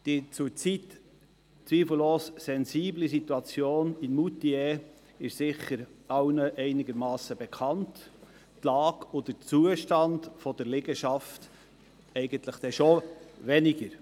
Die zurzeit zweifellos sensible Situation in Moutier ist sicher allen einigermassen bekannt, die Lage und der Zustand der Liegenschaft aber weniger.